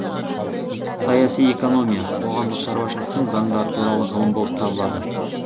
саяси экономия қоғамдық шаруашылықтың заңдары туралы ғылым болып табылады